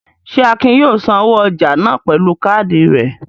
Ṣé Akin yóò sanwó ọjà náà pẹ̀lú káádì rẹ̀?